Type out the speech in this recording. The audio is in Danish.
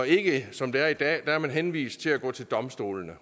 ikke som det er i dag er henvist til at gå til domstolene